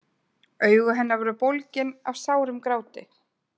Augu hennar voru bólgin af sárum gráti.